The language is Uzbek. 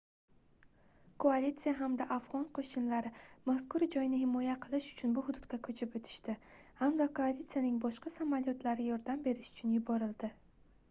koalitsiya hamda afgʻon qoʻshinlari mazkur joyni himoya qilish uchun bu hududga koʻchib oʻtishdi hamda koalitsiyaning boshqa samolyotlari yordam berish uchun yuborildi